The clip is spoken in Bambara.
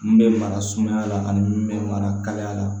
N bɛ mara sumaya la ani n bɛ mara kalaya la